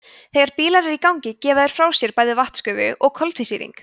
þegar bílar eru í gangi gefa þeir frá sér bæði vatnsgufu og koltvísýring